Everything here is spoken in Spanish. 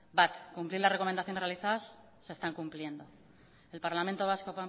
bat cumplir las recomendaciones realizadas se están cumpliendo el parlamento vasco